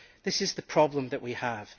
This is the problem that we have.